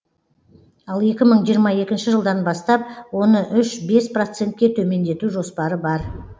ал екі мың жиырма екінші жылдан бастап оны үш бес процентке төмендету жоспары бар